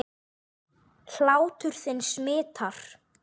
Hlátur þinn smitar.